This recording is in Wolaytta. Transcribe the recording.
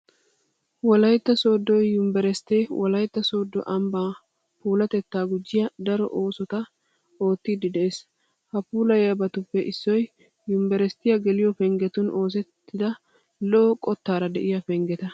Wolaytta sooddo yunveresttee wolaytta sooddo ambbaa puulatettaa gujjiya daro oosota oottiiddi de'ees. Ha puulayiyabatuppe issoy yunveresttiya geliyo penggetun oosettida lo"o qottaara de'iya penggeta.